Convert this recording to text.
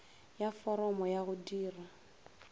ya foromo ya go dira